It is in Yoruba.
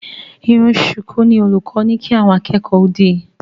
Irun ṣùkú ni olùkọ́ ní kí àwọn akẹ́kọ̀ọ́ ó dì